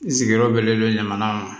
N sigiyɔrɔ bɛnnen dɔ ɲamana